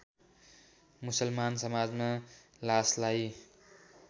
मुसलमान समाजमा लासलाई